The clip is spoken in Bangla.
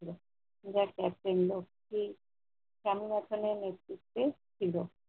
ছিল। যা captain লক্ষী কামুরাতানের নেতৃত্বে ছিল।